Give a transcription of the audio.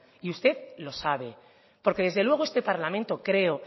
y usted lo sabe porque desde luego este parlamento creo